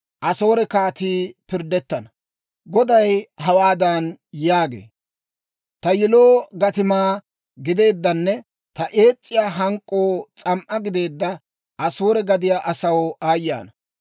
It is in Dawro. Goday hawaadan yaagee; «Ta yiloo gatimaa gideeddanne ta ees's'iyaa hank'k'oo s'am"aa gideedda Asoore gadiyaa asaw aayye ana!